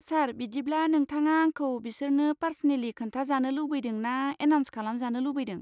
सार, बिदिब्ला नोंथाङा आंखौ बिसोरनो पारस'नेलि खोन्था जानो लुबैदों ना एनाउन्स खालामजानो लुबैदों?